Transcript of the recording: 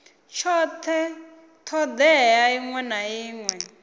tshothe thodea iṅwe na iṅwe